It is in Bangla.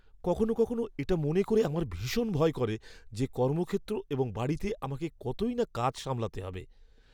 কখনও কখনও এটা মনে করে আমার ভীষণ ভয় করে যে কর্মক্ষেত্র এবং বাড়িতে আমাকে কতই না কাজ সামলাতে হবে।